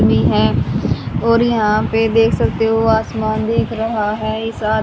है और यहां पे देख सकते हो आसमान भी दिख रहा है इसा--